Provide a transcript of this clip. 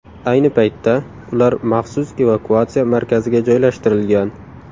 Ayni paytda ular maxsus evakuatsiya markaziga joylashtirilgan.